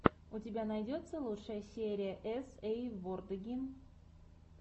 у тебя найдется лучшая серия эс эй вордеги